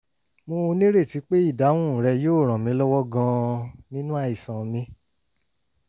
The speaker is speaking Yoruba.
mo nírètí pé ìdáhùn rẹ yóò ràn mí lọ́wọ́ gan-an nínú àìsàn mi